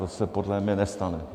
To se podle mě nestane.